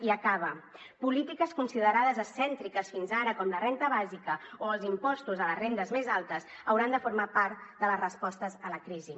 i acaba polítiques considerades excèntriques fins ara com la renda bàsica o els impostos a les rendes més altes hauran de formar part de les respostes a la crisi